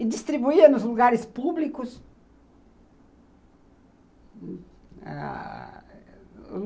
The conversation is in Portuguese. E distribuía nos lugares públicos. Ãh